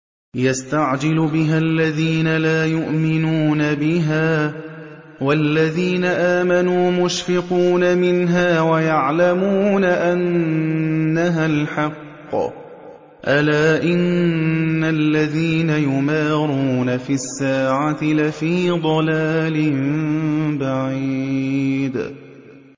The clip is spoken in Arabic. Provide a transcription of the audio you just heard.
يَسْتَعْجِلُ بِهَا الَّذِينَ لَا يُؤْمِنُونَ بِهَا ۖ وَالَّذِينَ آمَنُوا مُشْفِقُونَ مِنْهَا وَيَعْلَمُونَ أَنَّهَا الْحَقُّ ۗ أَلَا إِنَّ الَّذِينَ يُمَارُونَ فِي السَّاعَةِ لَفِي ضَلَالٍ بَعِيدٍ